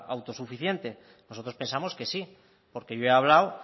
autosuficiente nosotros pensamos que sí porque yo he hablado